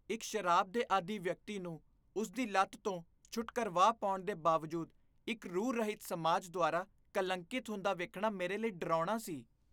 ਇੱਕ ਸ਼ਰਾਬ ਦੇ ਆਦੀ ਵਿਅਕਤੀ ਨੂੰ ਉਸਦੀ ਲਤ ਤੋਂ ਛੁਟਕਰਵਾ ਪਾਉਣ ਦੇ ਬਾਵਜੂਦ ਇੱਕ ਰੂਹ ਰਹਿਤ ਸਮਾਜ ਦੁਆਰਾ ਕਲੰਕੀਤ ਹੁੰਦਾ ਵੇਖਣਾ ਮੇਰੇ ਲਈ ਡਰਾਉਣਾ ਸੀ